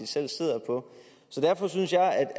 selv sidder på derfor synes jeg